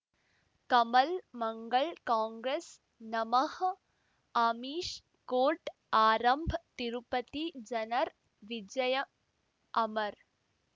ಕಮಲ್ ಮಂಗಳ್ ಕಾಂಗ್ರೆಸ್ ನಮಃ ಅಮಿಷ್ ಕೋರ್ಟ್ ಆರಂಭ್ ತಿರುಪತಿ ಜನರ್ ವಿಜಯ ಅಮರ್